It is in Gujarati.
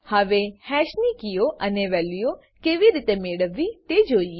હવે હેશ ની કીઓ અને વેલ્યુઓ કેવી રીતે મેળવવી તે જોઈએ